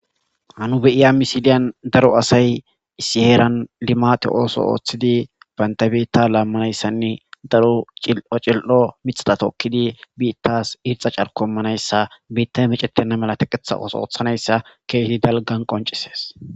Ha nu beiya missilen daaro assay issi heeran limmatte otho ooththidi baantta biitta lamanayssanne daaro cil'o cili'o miththata tokkidi bitas irxxa caarko immanayssa biitay mecctena malla teqqeththa ooththo oththanayssa kehi daalgan qonccises.